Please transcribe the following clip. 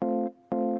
Soovin